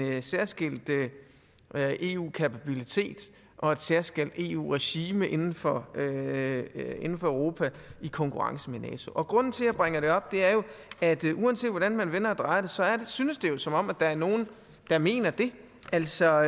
særskilt eu kapabilitet og et særskilt eu regime inden for europa i konkurrence med nato grunden til at jeg bringer det op er jo at uanset hvordan man vender og drejer det synes det som om der er nogen der mener det altså